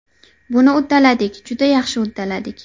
Buni uddaladik, juda yaxshi uddaladik.